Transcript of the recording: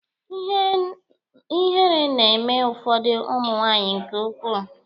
Ihere na-eme ụfọdụ ụmụ nwaanyị nke ukwuu.